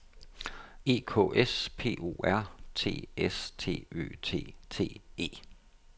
E K S P O R T S T Ø T T E